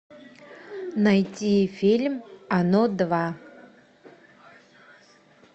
найди фильм оно два